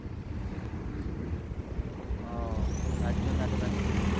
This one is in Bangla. ও তার জন্য এতো ব্যস্ত?